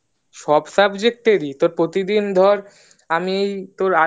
সব subject এরই তোর প্রতিদিন ধর আমি তোর